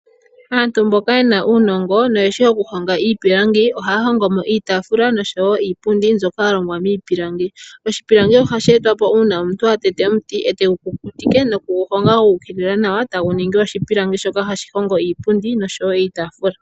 Aantu mboka yena uunongo nohaa hongo iipiilangi, ohaahongo mo iitaafula noshowo iipundi mbyoka yalongwa miipilangi, oshipilangi ohashi etwa po uuna omuntu atete omuti etegu kukutike nokugu honga guukilila nawa etagu ningi oshipilangi shoka hashi hongo iipundi noshowo iitaafula.